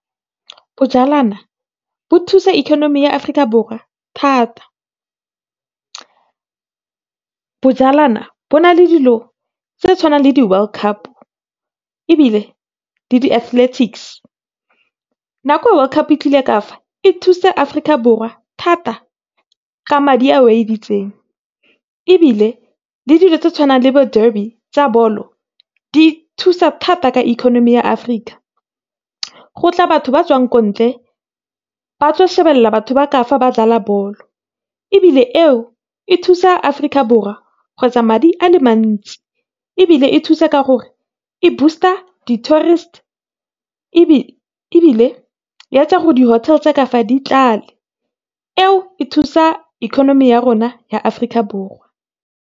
bo thusa ikonomi ya Afrika Borwa thata. bo na le dilo tse tshwanang le di-World Cup ebile, le di-athlethics, nakwe World Cup e tlile ka fa e thusitse Afrika Borwa thata, ka madi a editseng. Ebile, le dilo tse tshwanang le bo derby tsa bolo di thusa thata ka ikonomi ya Afrika, go tla batho ba tswang ko ntle, ba tlo shebelela batho ba ka fa ba dlala bolo. Ebile eo, e thusa Afrika Borwa kgotsa madi a le mantsi. Ebile e thusa ka gore e boost-a di-tourist, ebile e etsa gore di-hotel tsa ka fa di tlale, eo e thusa ikonomi ya rona ya Afrika Borwa.